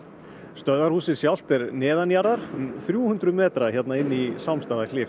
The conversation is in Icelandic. stöðvarhúsið sjálft er um þrjú hundruð metra hérna inni í